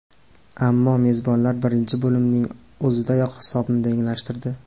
Ammo mezbonlar birinchi bo‘limning o‘zidayoq hisobni tenglashtirdi.